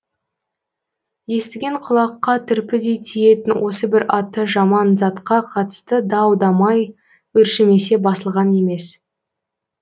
естіген құлаққа түрпідей тиетін осы бір аты жаман затқа қатысты дау дамай өршімесе басылған емес